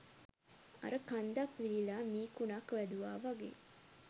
අර කන්දක් විලිලා මී කුණක් වැදුවා වගේ